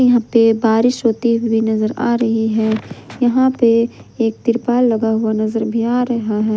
यहां पे बारिश होती हुई नजर आ रही है यहां पे एक तिरपाल लगा हुआ नजर आ रहा है।